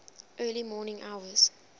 early morning hours